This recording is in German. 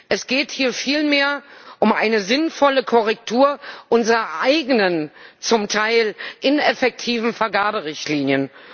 Es geht hier vielmehr um eine sinnvolle Korrektur unserer eigenen zum Teil ineffektiven Vergaberichtlinien.